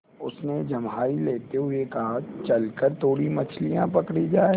उसने जम्हाई लेते हुए कहा चल कर थोड़ी मछलियाँ पकड़ी जाएँ